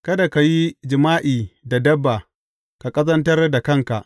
Kada ka yi jima’i da dabba ka ƙazantar da kanka.